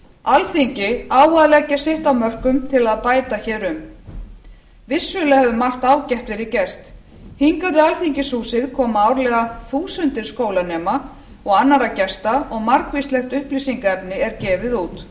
alþingi á að leggja sitt af mörkum til að bæta hér um vissulega hefur margt ágætt verið gert hingað í alþingishúsið koma árlega þúsundir skólanema og annarra gesta og margvíslegt upplýsingarefni er gefið út